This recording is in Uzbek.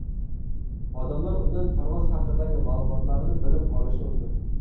Odamlar undan parvoz haqidagi ma’lumotlarni bilib olishi mumkin.